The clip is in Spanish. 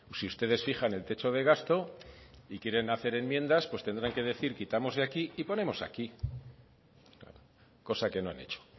si ustedes fijan el techo de gasto y quieren hacer enmiendas pues tendrán que decir quitamos de aquí y ponemos aquí cosa que no han hecho